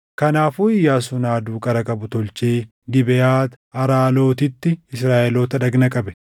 Kanaafuu Iyyaasuun haaduu qara qabu tolchee Gibeʼaat Aaralootitti Israaʼeloota dhagna qabe.